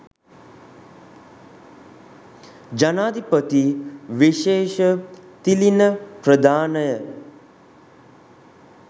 ජනාධිපති විශේෂ තිළිණ ප්‍රදානය